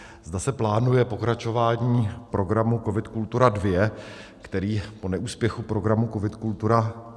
Zda se plánuje pokračování programu COVID - Kultura II, který po neúspěchu programu COVID - Kultura